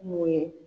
Mun ye